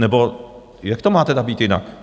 Nebo jak to má teda být jinak?